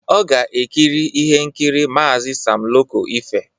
Ọ ga-ekiri ihe nkiri Maazi Sam Loco Efe.